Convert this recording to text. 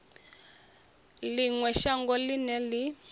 ḽi ṅwe shango ḽine ḽi